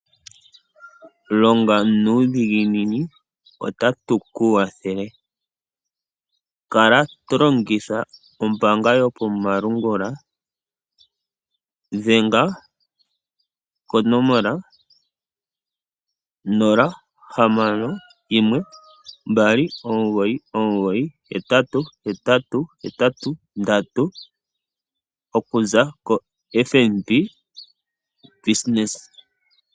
Longa nuudhiginini otatu ku kwathele. Kala to longitha ombaanga yopamalungula, dhenga konomola 061 299 8883 okuza kofNB ongeshefa.